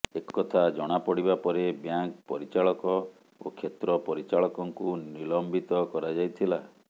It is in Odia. ଏକଥା ଜଣାପଡ଼ିବା ପରେ ବ୍ୟାଙ୍କ ପରିଚାଳକ ଓ କ୍ଷେତ୍ର ପରିଚାଳକଙ୍କୁ ନିଲମ୍ବିତ କରାଯାଇଥିଲା